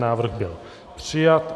Návrh byl přijat.